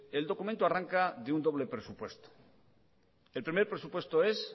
el documento arranca de un doble presupuesto el primer presupuesto es